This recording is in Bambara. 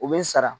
U bɛ n sara